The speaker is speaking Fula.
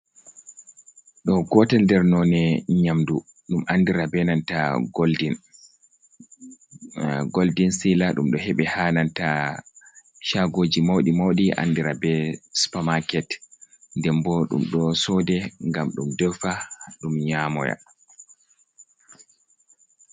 Ɗo gotel nder nonde nyamdu ɗum andira benanta goldin sila dum do hebi hananta shagoji maudi maudi andira be supermarket den bo dum do sode gam dum dewfa dum nyamoya.